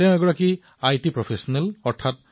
তেওঁ তথ্য প্ৰযুক্তিৰ পেছাৰ সৈতে জড়িত